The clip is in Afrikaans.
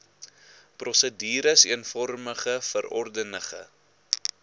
prosedures eenvormige verordenige